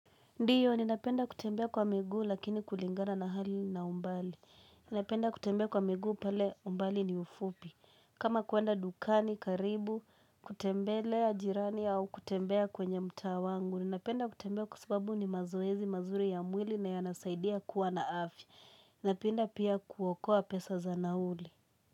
Ndiyo, ninapenda kutembea kwa miguu lakini kulingana na hali na umbali. Ninapenda kutembea kwa migu pale umbali ni ufupi. Kama kwenda dukani, karibu, kutembelea jirani au kutembea kwenye mtaa wangu. Ninapenda kutembea kwa sababu ni mazoezi, mazuri ya mwili na yanasaidia kuwa na afya. Ninapenda pia kuokoa pesa za nauli.